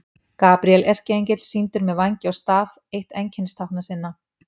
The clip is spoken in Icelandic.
Gabríel erkiengill sýndur með vængi og staf, eitt einkennistákna sinna.